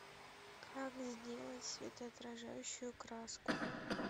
как сделать светоотражающую краску